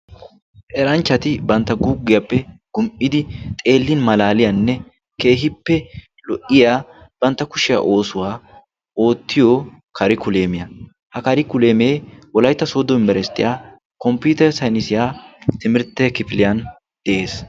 eranchchati bantta guuggiyaappe gum''idi xeellin malaaliyaanne kehippe lo''iya bantta kushiyaa oosuwaa oottiyo kari kuleemiyaa ha kari kuleemee wolaytta soodo yunbberasitiyaa komppiter saynisiyaa timirtte kifiliyan de'ees